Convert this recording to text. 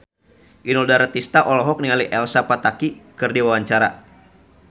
Inul Daratista olohok ningali Elsa Pataky keur diwawancara